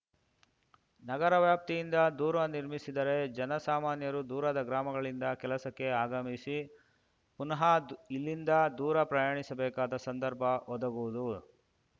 ನಗರವ್ಯಾಪ್ತಿಯಿಂದ ದೂರ ನಿರ್ಮಿಸಿದರೆ ಜನಸಾಮಾನ್ಯರು ದೂರದ ಗ್ರಾಮಗಳಿಂದ ಕೆಲಸಕ್ಕೆ ಆಗಮಿಸಿ ಪುನಃ ಇಲ್ಲಿಂದ ದೂರ ಪ್ರಯಾಣಿಸಬೇಕಾದ ಸಂದರ್ಭ ಒದಗುವುದು